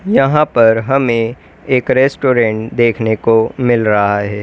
यहां पर हमें एक रेस्टोरेंट देखने को मिल रहा है।